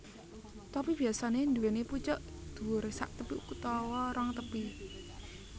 Topi biyasanè nduwèni pucuk dhuwur saktepi utawa rong tepi